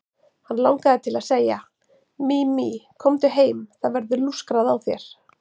Hann langaði til að segja: Mimi, komdu heim, það verður lúskrað á þér.